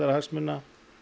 hagsmuna